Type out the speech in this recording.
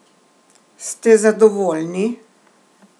Ste zadovoljni?